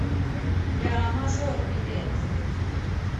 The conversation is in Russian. ля мажор билет